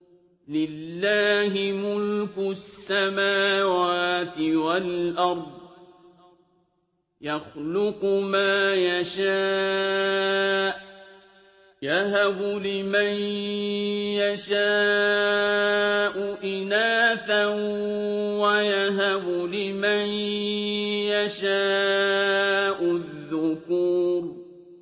لِّلَّهِ مُلْكُ السَّمَاوَاتِ وَالْأَرْضِ ۚ يَخْلُقُ مَا يَشَاءُ ۚ يَهَبُ لِمَن يَشَاءُ إِنَاثًا وَيَهَبُ لِمَن يَشَاءُ الذُّكُورَ